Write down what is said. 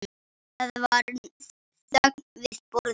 Það var þögn við borðið.